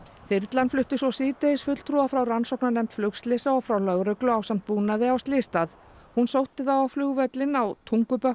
þyrla flutti svo síðdegis fulltrúa frá rannsóknarnefnd flugslysa og frá lögreglu ásamt búnaði á slysstað hún sótti þá á flugvöllinn á Tungubökkum